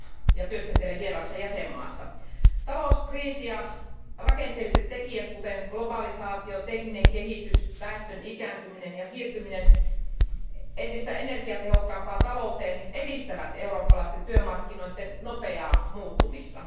ja työskentelee vieraassa jäsenmaassa. Talouskriisi ja rakenteelliset tekijät, kuten globalisaatio, tekninen kehitys, väestön ikääntyminen ja siirtyminen entistä energiatehokkaampaan talouteen, edistävät eurooppalaisten työmarkkinoiden nopeaa muuttumista.